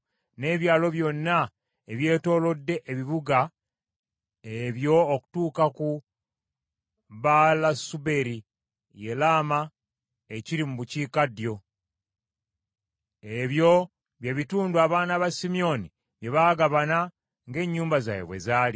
n’ebyalo byonna ebyetoolodde ebibuga ebyo okutuuka ku Baalasubeeri, ye Laama ekiri mu bukiikaddyo. Ebyo bye bitundu abaana ba Simyoni bye baagabana ng’ennyumba zaabwe bwe zaali.